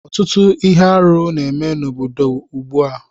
Ọtụtụ ihe arụ n'eme n'obodo ugbu a